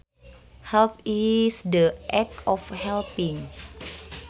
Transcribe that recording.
Help is the act of helping